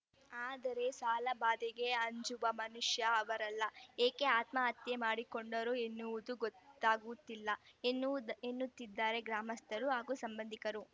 ಆದರೆ ಸಾಲಬಾಧೆಗೆ ಅಂಜುವ ಮನುಷ್ಯ ಅವರಲ್ಲ ಏಕೆ ಆತ್ಮಹತ್ಯೆ ಮಾಡಿಕೊಂಡರು ಎನ್ನುವುದು ಗೊತ್ತಾಗುತ್ತಿಲ್ಲ ಎನ್ನುವು ಎನ್ನುತ್ತಿದ್ದಾರೆ ಗ್ರಾಮಸ್ಥರು ಹಾಗೂ ಸಂಬಂಧಿಕರು